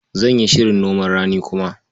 Zan yi shirin noman rani kuma.